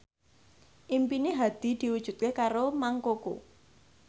impine Hadi diwujudke karo Mang Koko